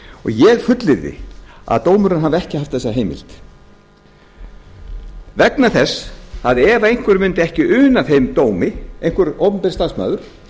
ég fullyrði að dómurinn hafi ekki haft þessa heimild vegna þess að ef einhver mundi ekki una þeim dómi einhver opinber starfsmaður